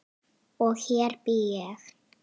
Og hér bý ég!